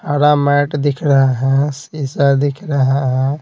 Mat दिख रहा है सीसा दिख रहा है।